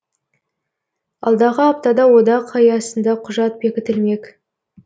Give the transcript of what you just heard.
алдағы аптада одақ аясында құжат бекітілмек